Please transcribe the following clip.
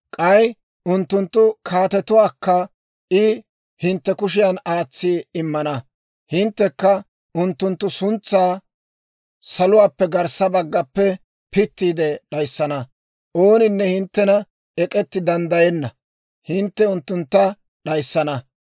K'ay unttunttu kaatetuwaakka I hintte kushiyan aatsi immana. Hinttekka unttunttu suntsaa saluwaappe garssa baggappe pittiide d'ayissana. Ooninne hinttenana ek'etti danddayenna; hintte unttuntta d'ayissana.